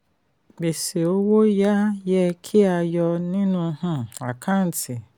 gbèsè owó yá yẹ kí a yọ nínú um àkántì.